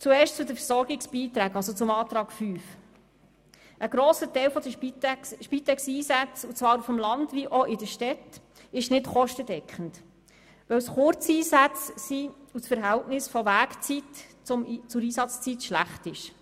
Zuerst zu den Versorgungsbeiträgen, zu Antrag 5: Ein grosser Teil der Spitexeinsätze sowohl auf dem Land als auch in den Städten ist nicht kostendeckend, denn es handelt sich dabei um Kurzeinsätze, wo das Verhältnis zwischen Weg- und Einsatzzeit schlecht ist.